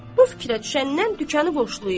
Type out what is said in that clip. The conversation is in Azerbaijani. Bu fikrə düşəndən dükanı boşlayıb.